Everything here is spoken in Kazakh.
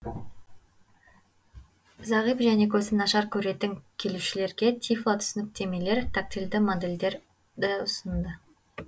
зағип және көзі нашар көретін келушілерге тифло түсініктемелер тактильді модельдерді ұсынды